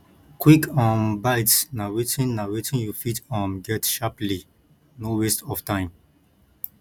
quick um bites na wetin na wetin you fit um get sharply no waste of time